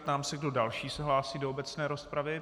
Ptám se, kdo další se hlásí do obecné rozpravy.